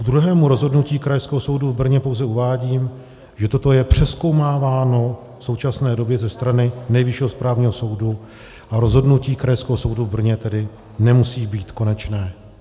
Ke druhému rozhodnutí Krajského soudu v Brně pouze uvádím, že toto je přezkoumáváno v současné době ze strany Nejvyššího správního soudu, a rozhodnutí Krajského soudu v Brně tedy nemusí být konečné.